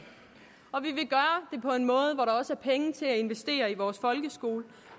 og en måde hvor der også er penge til at investere i vores folkeskole